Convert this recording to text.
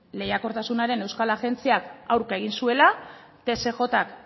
lehiakortasunaren euskal agentziak aurka egin zuela tsjk